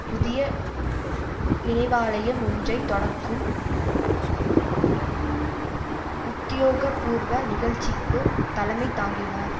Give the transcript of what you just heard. புதிய நினைவாலயம் ஒன்றை தொடக்கும் உத்தியோக பூர்வ நிகழ்ச்சிக்கு தலைமை தாங்கினார்